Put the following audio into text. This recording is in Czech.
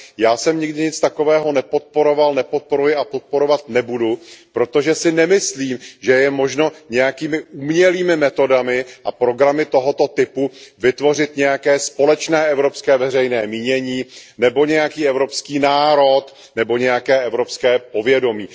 Já jsem nikdy nic takového nepodporoval, nepodporuji a podporovat nebudu, protože si nemyslím, že je možno nějakými umělými metodami a programy tohoto typu vytvořit nějaké společné evropské veřejné mínění nebo nějaký evropský národ nebo nějaké evropské povědomí.